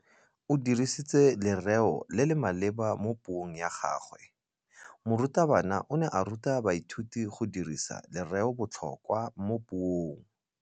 O dirisitse lerêo le le maleba mo puông ya gagwe. Morutabana o ne a ruta baithuti go dirisa lêrêôbotlhôkwa mo puong.